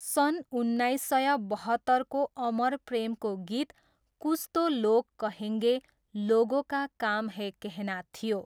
सन् उन्नाइस सय बहत्तरको अमर प्रेमको गीत कुछ तो लोग कहेंगे लोगों का काम है कहना थियो।